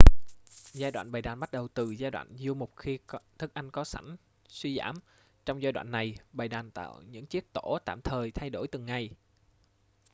giai đoạn bầy đàn bắt đầu từ giai đoạn du mục khi thức ăn có sẵn suy giảm trong giai đoạn này bầy đàn tạo những chiếc tổ tạm thời thay đổi từng ngày